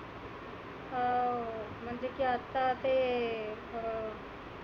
अं म्हणजे की आता ते अं